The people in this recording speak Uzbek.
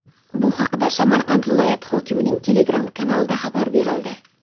Bu haqda Samarqand viloyati hokimining Telegram kanalida xabar berildi .